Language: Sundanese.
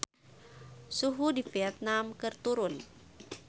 Suhu di Vietman keur turun